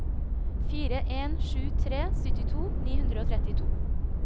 fire en sju tre syttito ni hundre og trettito